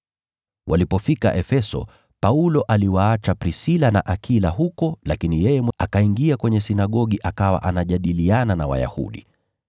Walipofika Efeso, Paulo aliwaacha Prisila na Akila huko, lakini yeye akaingia kwenye sinagogi akawa anajadiliana na Wayahudi.